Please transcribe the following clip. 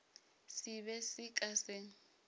se be se ka se